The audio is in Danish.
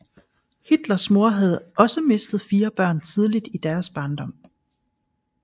Hitlers mor havde også mistet fire børn tidligt i deres barndom